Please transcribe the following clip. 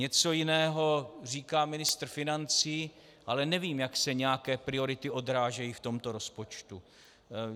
Něco jiného říká ministr financí, ale nevím, jak se nějaké priority odrážejí v tomto rozpočtu.